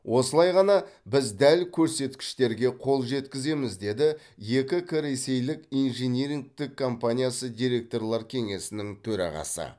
осылай ғана біз дәл көрсеткіштерге қол жеткіземіз деді екі к ресейлік инжинирингтік компаниясы директорлар кеңесінің төрағасы